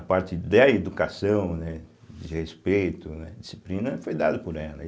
A parte da educação, né, de respeito, né, disciplina, foi dada por ela. aí